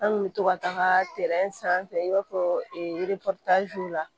An kun bɛ to ka taaga sanfɛ i b'a fɔ la